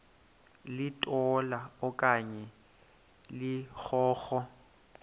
litola okanye ligogo